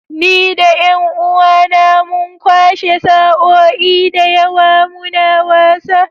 Ni da ’yan uwAna mun kwashe sa’o’i da yawa muna wasa